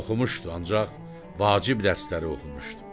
Oxumuşdu ancaq vacib dərsləri oxumuşdu.